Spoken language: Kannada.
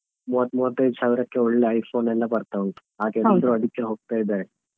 ಮೂವತ್ತು ಮೂವತ್ತೈದು ಸಾವಿರಕ್ಕೆ ಒಳ್ಳೆ iPhone ಎಲ್ಲಾ ಬರ್ತಾ ಉಂಟು ಹಾಗೆ ಎಲ್ಲರು ಅದಕ್ಕೆ ಹೋಗ್ತಾ ಇದ್ದಾರೆ.